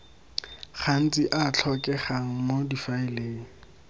gantsi a tlhokegang mo difaeleng